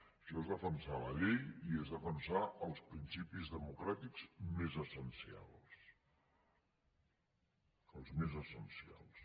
això és defensar la llei i és defensar els principis democràtics més essencials els més essencials